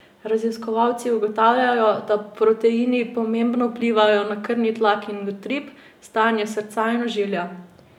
Raziskovalci ugotavljajo, da proteini pomembno vplivajo na krvni tlak in utrip, stanje srca in ožilja.